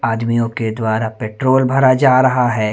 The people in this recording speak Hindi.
आदमियों के द्वारा पेट्रोल भरा जा रहा है।